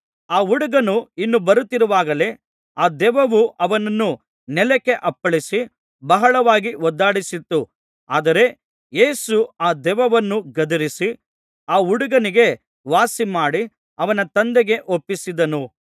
ಆ ಹುಡುಗನು ಇನ್ನೂ ಬರುತ್ತಿರುವಾಗಲೇ ಆ ದೆವ್ವವು ಅವನನ್ನು ನೆಲಕ್ಕೆ ಅಪ್ಪಳಿಸಿ ಬಹಳವಾಗಿ ಒದ್ದಾಡಿಸಿತು ಆದರೆ ಯೇಸು ಆ ದೆವ್ವವನ್ನು ಗದರಿಸಿ ಆ ಹುಡುಗನಿಗೆ ವಾಸಿಮಾಡಿ ಅವನ ತಂದೆಗೆ ಒಪ್ಪಿಸಿದನು